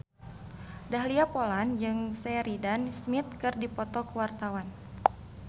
Dahlia Poland jeung Sheridan Smith keur dipoto ku wartawan